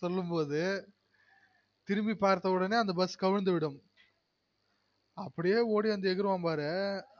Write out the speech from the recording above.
சொல்லும்பொது திரும்பி பாத்தவுடனெ அந்த bus கவிழ்ந்துவிடும் அப்டியெ ஒடி வந்து எகுருவான் பாரு